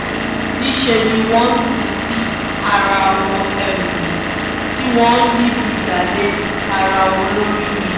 níṣẹ́ ni wọ́n ń tì í sí ara wọn tí wọ́n ń yí ebi dá lé ara wọn lórí ni